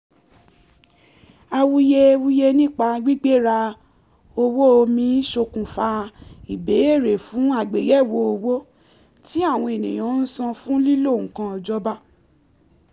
awuyewuye nípa gbigbera owó omi ṣokùnfà ìbéèrè fún àgbéyẹ̀wò owó tí àwọn èèyàn ń san fún lílo nnkan ìjọba